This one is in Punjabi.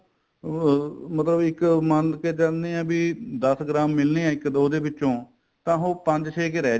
ਅਹ ਮਤਲਬ ਇੱਕ ਮੰਨ ਕੇ ਚਲਦੇ ਆ ਬੀ ਦੱਸ ਗ੍ਰਾਮ ਮਿਲਨੇ ਏ ਇੱਕ ਦੋ ਦੇ ਵਿਚੋ ਤਾਂ ਉਹ ਪੰਜ ਛੇ ਕ ਰਹਿ